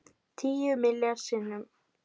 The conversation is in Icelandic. Tíu milljarð sinnum